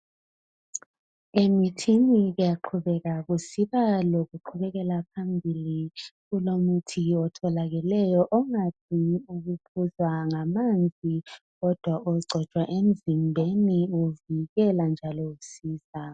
Emithini kuyaqhubeka kusiba lokuqhubekela phambili, kulomuthi otholakeleyo angadingi ukuphuzwa ngamanzi kodwa ogcotshwa emzimbeni uvikela njalo usiza.